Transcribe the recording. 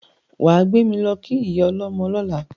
Wà á gbé mi lọ́ kí ìyá ọlọ́mọ lọ́la!